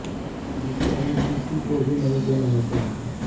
जिसे हमें किसी को भी नहीं देना होता है